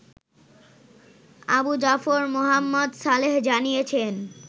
আবু জাফর মোহাম্মদ সালেহ জানিয়েছেন